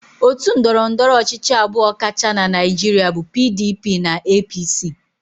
Otu ndọrọndọrọ ọchịchị abụọ kacha na Naịjirịa bụ PDP na APC.